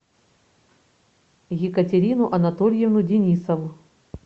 екатерину анатольевну денисову